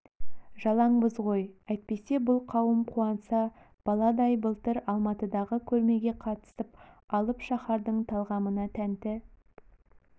жалаңбыз ғой әйтпесе бұл қауым қуанса баладай былтыр алматыдағы көрмеге қатысып алып шаһардың талғамына тәнті